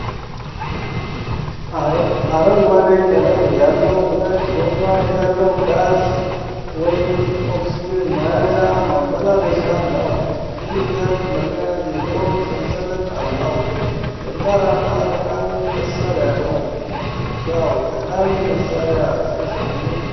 አረንጓዴ ቀለም ያለው፣ ሁለት ጎማ ያለው ጋዝ( ኦክስጅን ) መያዣ ማመላለሻ ነው። ሲሊንደር ለመያዝ የሚሆን ሰንሰለት አለው። ጠንካራና ጠቃሚ መሣሪያ ነው ። ዋው! ጠቃሚ መሳሪያ ሲያስደንቅ!